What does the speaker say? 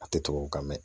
A tɛ tubabukan mɛn